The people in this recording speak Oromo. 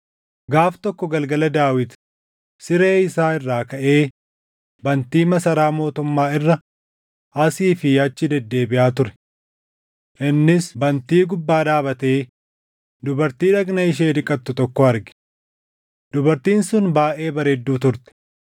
Gaaf tokko galgala Daawit siree isaa irraa kaʼee bantii masaraa mootummaa irra asii fi achi deddeebiʼaa ture. Innis bantii gubbaa dhaabatee dubartii dhagna ishee dhiqattu tokko arge. Dubartiin sun baayʼee bareedduu turte;